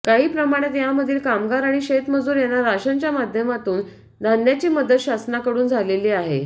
काही प्रमाणात यामधील कामगार आणि शेतमजूर यांना राशन च्या माध्यमातून धान्याची मदत शासनाकडून झालेले आहे